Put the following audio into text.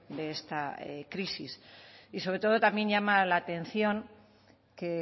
de esta crisis y sobre todo también llama la atención que